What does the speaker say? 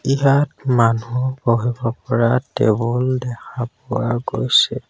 ইয়াত মানুহ বহিব পৰা টেবুল দেখা পোৱা গৈছে।